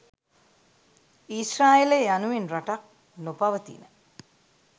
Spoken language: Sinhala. ඊශ්‍රායලය යනුවෙන් ‍රටක් නොපවතින